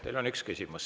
Teile on üks küsimus.